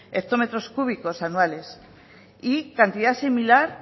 hectómetros cúbicos anuales y cantidad similar